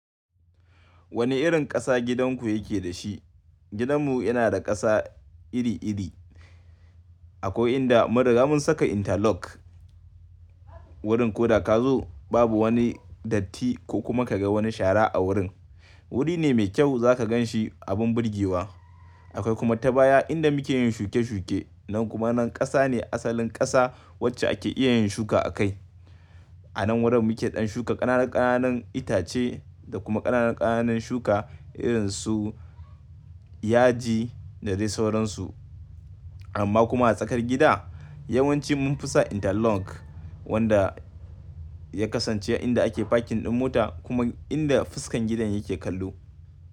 Wani irin ƙasa gidanku yake da shi? Gidanmu yana da ƙasa iri-iri. Akwai inda mun riga mun saka interlock. Wurin ko da ka zo babu wani datti ko kuma ka ga wani shara a wurin. Wuri ne mai kyau za ka gan shi abin burgewa. Akwai kuma ta baya inda muke yin shuke-shuke. Nan kuma nan ƙasa ne asalin ƙasa wacce ake iya yin shuka a kai. A nan wurin muke ɗan shuka ƙananan ƙananan itace da kuma ƙananan ƙananan shuka irin su yaji da dai sauransu. Amma kuma a tsakar gida yawanci mun fasa interlock wanda ya kasance inda ake parking ɗin mota kuma inda fuskan gidan yake kallo.